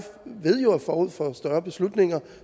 ved jo at forud for større beslutninger